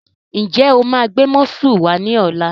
Ǹjẹ́ o máa gbé músù wá ní ọ̀la?